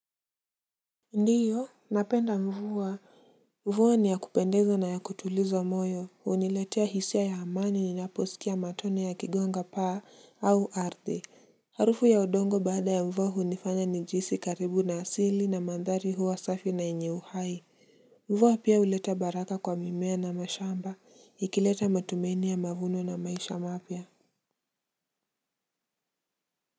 Ndio napenda mvua. Mvua ni ya kupendeza na ya kutuliza moyo. Huniletea hisia ya amani ninaposikia matone yakigonga paa au ardhi. Harufu ya odongo baada ya mvua hunifanya nijihisi karibu na asili na mandhari huwa safi na yenye uhai mvua pia huleta baraka kwa mimea na mashamba ikileta matumaini ya mavuno na maisha mapya.